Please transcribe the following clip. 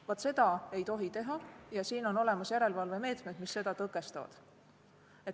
Vaat seda ei tohi teha ja siin on olemas järelevalvemeetmed, mis seda tõkestavad.